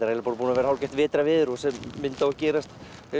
eiginlega búið að vera hálfgert vetrarveður og þessi mynd á að gerast